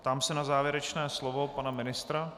Ptám se na závěrečné slovo pana ministra.